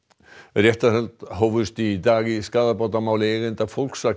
réttarhöld hófust í dag í skaðabótamáli eigenda